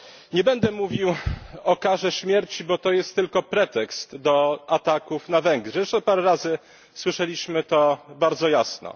Nie będę mówił o karze śmierci, bo to jest tylko pretekst do ataków na Węgry, zresztą parę razy słyszeliśmy to bardzo jasno.